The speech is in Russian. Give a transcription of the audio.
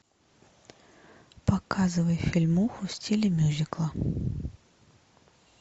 показывай фильмуху в стиле мюзикла